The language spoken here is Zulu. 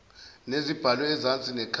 nezibhalwe ezansi nekhasi